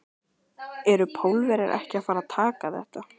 Eru Pólverjar ekki að fara að taka þetta?